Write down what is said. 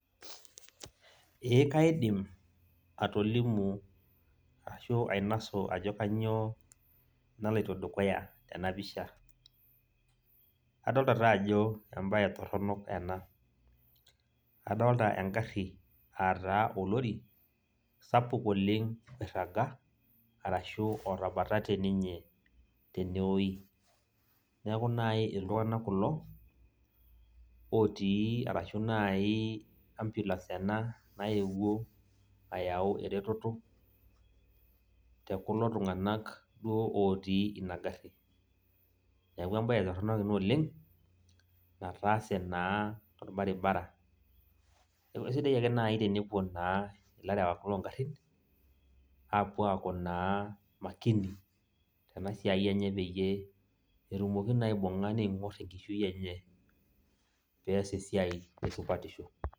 Ee kaidim atolimu ashu ainosu ajo kanyioo naloito dukuya tenapisha. Adolta taajo ebae torronok ena. Adolta egarri ataa olori, sapuk oleng' oirraga, arashu otabatate ninye tenewoi. Neeku nai iltung'anak kulo, otii arashu nai ambulance ena naewuo ayau ereteto, tekula tung'anak duo otii inagarri. Neeku ebae torronok ina oleng, nataase naa torbaribara. Neku esidai ake nai tenepuo naa ilarewak logarrin, apuo aku naa makini, tenasiai enye peyie etumoki naa aibung'a ning'or enkishui enye, pees esiai tesupatisho.